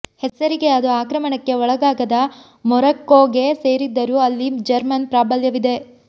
ಹೆಸರಿಗೆ ಅದು ಆಕ್ರಮಣಕ್ಕೆ ಒಳಗಾಗದ ಮೊರಕ್ಕೋಗೆ ಸೇರಿದ್ದರೂ ಅಲ್ಲಿ ಜರ್ಮನ್ ಪ್ರಾಬಲ್ಯವಿದೆ